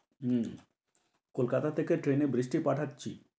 হম কলকাতা থেকে ট্রেনে বৃষ্টি পাঠাচ্ছি।